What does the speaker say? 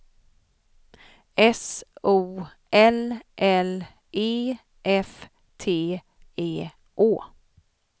S O L L E F T E Å